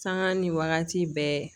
Sanga ni wagati bɛɛ